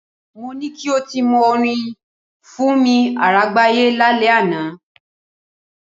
Mo ní kí o ti mọ orin Fúnni Àrágbayé lálẹ́ àná.